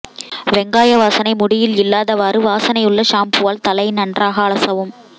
வெங்காய வாசனை முடியில் இல்லாதவாறு வாசனையுள்ள ஷாம்பூவால் தலை நன்றாக அலசவும்